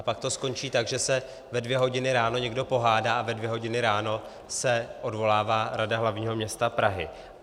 A pak to skončí tak, že se ve dvě hodiny ráno někdo pohádá a ve dvě hodiny ráno se odvolává Rada hlavního města Prahy.